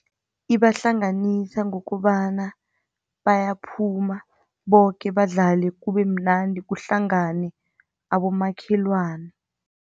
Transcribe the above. Ibahlanganisa ngokobana bayaphuma boke badlale kubemnandi, kuhlangane abomakhelwana.